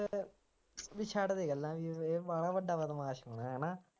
ਬਈ ਛੱਡ ਦੇ ਗੱਲਾਂ ਜਿਵੇਂ ਇਹ ਵਾਲਾ ਵੱਡਾ ਬਦਮਾਸ਼ ਹੈਗਾ ਹੈ ਨਾ